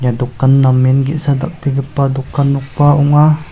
dokan namen ge·sa dal·begipa dokan nokba ong·a.